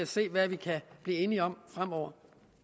se hvad vi kan blive enige om fremover